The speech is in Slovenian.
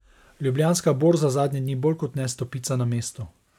Ljubljanska borza zadnje dni bolj kot ne stopica na mestu.